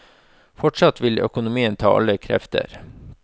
Fortsatt vil økonomien ta alle krefter.